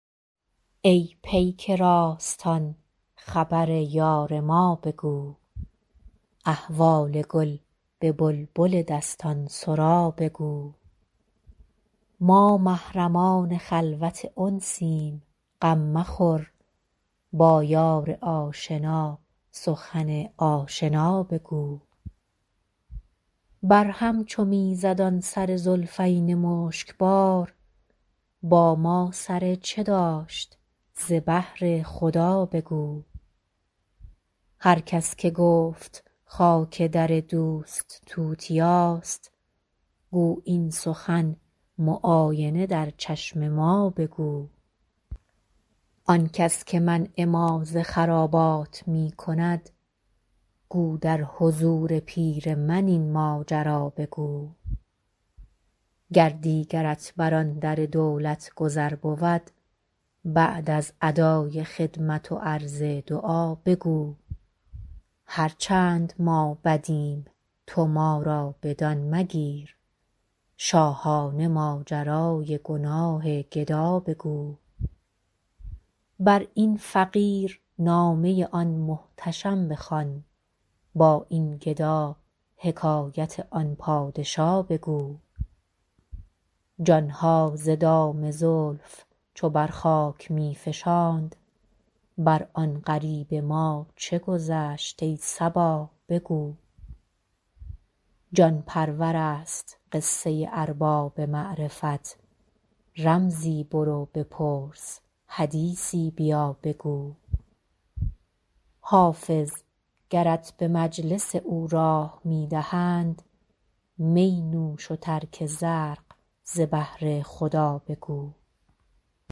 ای پیک راستان خبر یار ما بگو احوال گل به بلبل دستان سرا بگو ما محرمان خلوت انسیم غم مخور با یار آشنا سخن آشنا بگو بر هم چو می زد آن سر زلفین مشک بار با ما سر چه داشت ز بهر خدا بگو هر کس که گفت خاک در دوست توتیاست گو این سخن معاینه در چشم ما بگو آن کس که منع ما ز خرابات می کند گو در حضور پیر من این ماجرا بگو گر دیگرت بر آن در دولت گذر بود بعد از ادای خدمت و عرض دعا بگو هر چند ما بدیم تو ما را بدان مگیر شاهانه ماجرای گناه گدا بگو بر این فقیر نامه آن محتشم بخوان با این گدا حکایت آن پادشا بگو جان ها ز دام زلف چو بر خاک می فشاند بر آن غریب ما چه گذشت ای صبا بگو جان پرور است قصه ارباب معرفت رمزی برو بپرس حدیثی بیا بگو حافظ گرت به مجلس او راه می دهند می نوش و ترک زرق ز بهر خدا بگو